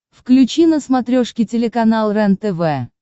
включи на смотрешке телеканал рентв